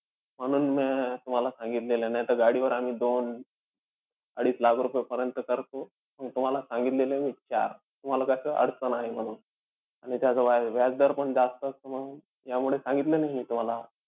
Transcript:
म्हणून मी अं तुम्हाला सांगितलेलं, नाहीतर गाडीवर आम्ही दोन अडीच लाख रुपयेपर्यंत करतो. पण तुम्हाला सांगितलेले मी चार, तुम्हाला कसं अडचण आहे म्हणून. आणि त्याच व्या व्याजदर पण जास्त असतो म्हणून, यामुळे सांगितलं नाही मी तुम्हाला.